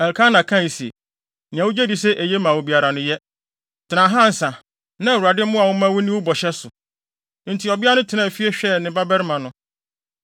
Elkana kae se, “Nea wugye di sɛ eye ma wo biara no, yɛ. Tena ha ansa; na Awurade mmoa wo mma wunni wo bɔhyɛ so.” Enti ɔbea no tenaa fie hwɛɛ ne babarima no.